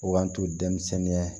O b'an to denmisɛnninya